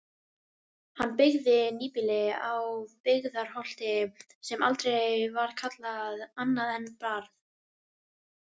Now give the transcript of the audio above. Hann byggði nýbýlið á Byggðarholti sem aldrei var kallað annað en Barð.